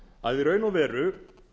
að í raun og veru